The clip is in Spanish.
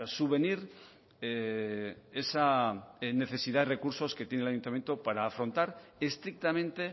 subvenir esa necesidad de recursos que tiene el ayuntamiento para afrontar estrictamente